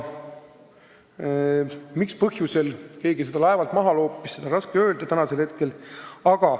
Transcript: Mis põhjusel keegi seda laevalt maha loopis, seda on täna raske öelda.